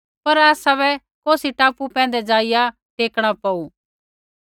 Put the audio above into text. पर आसाबै कौसी टापू पैंधै ज़ाइआ टेकणा पौऊ